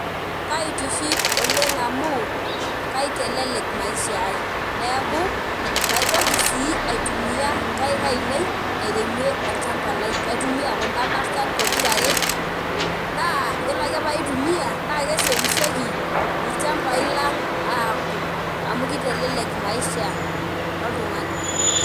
Kaitiship oleng amu, kaitelelek maisha ai. Neeku, maitoki si aitumia inkaik ainei, airemie olchamba lai. Kaitumia kuna barsan pokira are, naa yiolo ake paitumia naa kesiokisioki ilchambai lang aku. Amu kitelelek maisha oltung'ani.